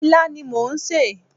Ilá ni mò ń sè.